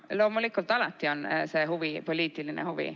Loomulikult, alati on see huvi poliitiline huvi.